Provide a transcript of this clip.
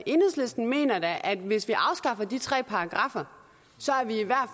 enhedslisten mener da at hvis vi afskaffer de tre paragraffer